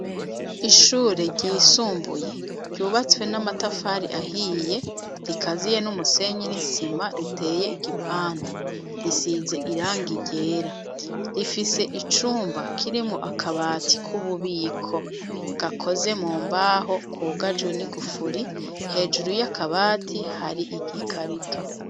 Ishure ryisumbuye ryubatswe namatafari ahiye rikaziye numusenyi nisima riteye igipande. Risize irangi ryera rifise icumba kirimwo akabati kububiko gakoze mumbaho kugajwe nigufuri hejuru yakabati hari igikarito.